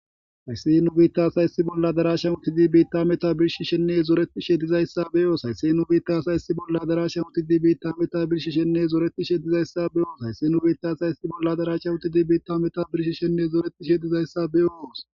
Haysse nu bittas hayssi bolla darashan utidi beitta meta birshi shenne zoretishe dizayssa beyoos haysse nubitasayssi bolla darashan uti di beitta meta birshi shenne zoretishe dizayssa beyoos haysse nu bitas ayssi bolla darashan utidi beitta meta birshi shenne zooretishe dizayssa beyoos.